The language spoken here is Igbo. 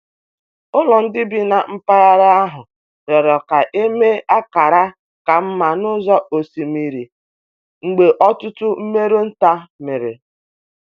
Ụlọ ndị bi na mpaghara ahụ rịọrọ ka e mee akara ka mma n’ụzọ osimiri mgbe ọtụtụ mmerụ nta mere.